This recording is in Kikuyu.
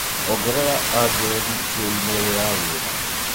ongerera andirethi cia i-mīrū ya wĩra